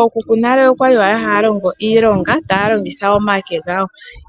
Ookuku yonale oyali haalongo iilonga taalongitha omake gawo